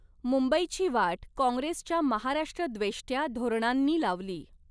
मुंबईची वाट कॉंग्रेसच्या महाराष्ट्रद्वेष्ट्या धोरणांनी लावली.